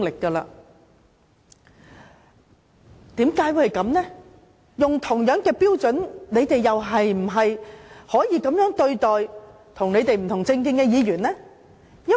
根據同一標準，他們是否也可以這樣對待與他們政見不同的議員？